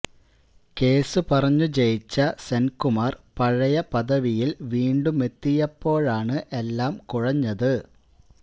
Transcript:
കേസു പറഞ്ഞു ജയിച്ച സെന്കുമാര് പഴയ പദവിയില് വീണ്ടുമെത്തിയപ്പോഴാണ് എല്ലാം കുഴഞ്ഞത്